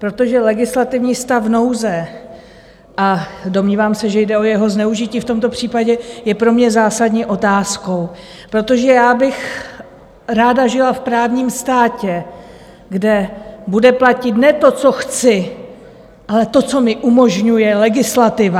Protože legislativní stav nouze, a domnívám se, že jde o jeho zneužití v tomto případě, je pro mě zásadní otázkou, protože já bych ráda žila v právním státě, kde bude platit ne to, co chci, ale to, co mi umožňuje legislativa.